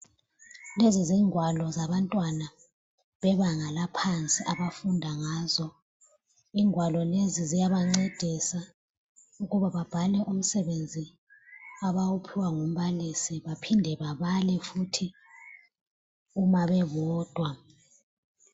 Lezi zingwalo zabantwana bebanga laphansi abafunda ngazo, ingwalo lezi ziyabancedisa ukuba babhale umsebenzi abawuphiwa ngumbalisi baphinde babale futhi uma bebodwa.